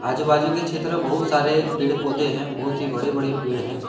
आजू बाजू के क्षेत्र बहुत सारे पेड़ पौधे हैं बहुत ही बड़े बड़े पेड़ हैं।